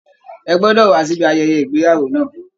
Ẹ gbọ́dọ̀ wá síbi ayẹyẹ ìgbéyàwó náà!